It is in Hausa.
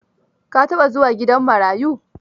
Ka taɓa zuwa gidan marayu?